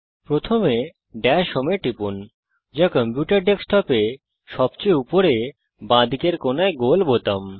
প্রথমে dash home এ টিপুন যা কম্পিউটার ডেস্কটপে সবচেয়ে উপরে বাঁদিকের কোনায় গোল বোতাম